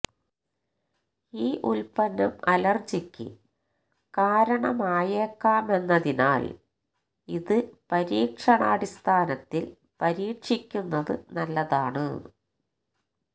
ഈ ഉൽപന്നം അലർജിക്ക് കാരണമായേക്കാമെന്നതിനാൽ ഇത് പരീക്ഷണാടിസ്ഥാനത്തിൽ പരീക്ഷിക്കുന്നത് നല്ലതാണ്